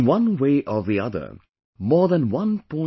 In one way or the other, more than 1